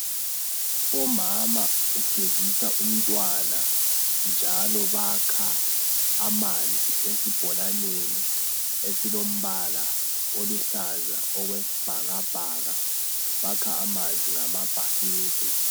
Umama ugezisa umntwana njalo bakha amanzi esibholaneni esilombala oluhlaza okwesibhakabhaka. Bakha amanzi ngamabhakede.